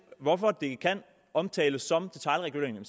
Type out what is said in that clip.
hvorfor det kan omtales som detailregulering